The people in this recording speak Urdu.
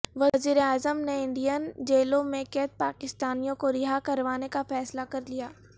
وزیراعظم نے انڈین جیلوں میں قید پاکستانیوں کو رہا کروانے کا فیصلہ کر لیا